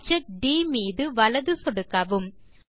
object ட் மீது வலது சொடுக்கவும்